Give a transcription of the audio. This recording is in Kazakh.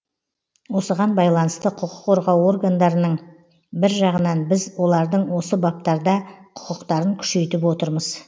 осыған байланысты құқық қорғау орындарының бір жағынан біз олардың осы баптарда құқықтарын күшейтіп отырмыз